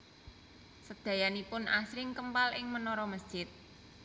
Sedayanipun asring kempal ing menara masjid